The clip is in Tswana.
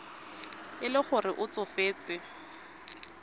e le gore o tsofetse